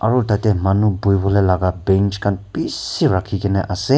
aru ete manu buhi wole laga bench khan bishi rakhi kene ase.